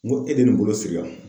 N ko e de ye nin bolo siri yan?